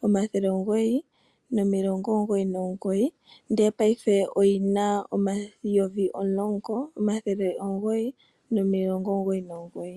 11,999 ndele paife oyina N$ 10,999.